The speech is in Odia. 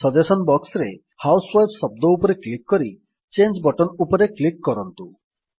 ସଜେସନ୍ ବକ୍ସରେ ହାଉସୱାଇଫ୍ ଶବ୍ଦ ଉପରେ କ୍ଲିକ୍ କରି ଚାଙ୍ଗେ ବଟନ୍ ଉପରେ କ୍ଲିକ୍ କରନ୍ତୁ